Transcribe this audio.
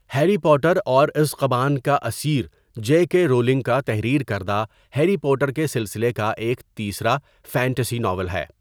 Harry Potter اور اژقبان کا اسیر جے کے رولنگ کا تحریر کردہ ہیری پوٹر کے سلسلہ کا ایک تیسرا فینٹسی ناول ہے.